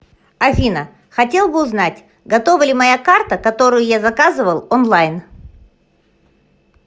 афина хотел бы узнать готова ли моя карта которую я заказывал онлайн